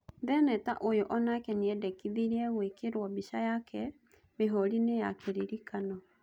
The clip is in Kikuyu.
Theneta ũyũ onake niendekithirie gũĩkĩrwo mbica yake mĩhũriinĩ ya kĩririkano.